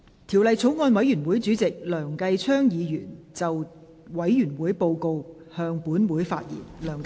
條例草案委員會的主席梁繼昌議員就委員會報告，向本會發言。